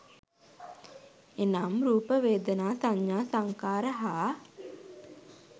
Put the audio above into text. එනම්, රූප, වේදනා, සඤ්ඤා, සංඛාර හා